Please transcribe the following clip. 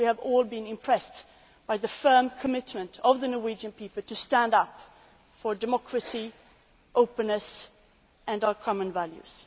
I think we have all been impressed by the firm commitment of the Norwegian people to stand up for democracy, openness and our common values.